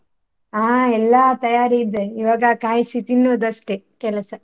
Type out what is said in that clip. ಹಾ ಎಲ್ಲ ತಯಾರಿ ಇದೆ ಈವಾಗ ಕಾಯಿಸಿ ತಿನ್ನುದು ಅಷ್ಟೇ ಕೆಲಸ.